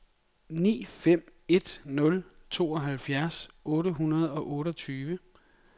ni fem en nul tooghalvfjerds otte hundrede og otteogtyve